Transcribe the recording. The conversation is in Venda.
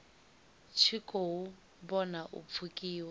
tshi khou vhona u pfukiwa